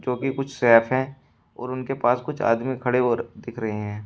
जो कि कुछ सैफ है और उनके पास कुछ आदमी खड़े हो रहे दिख रहे हैं।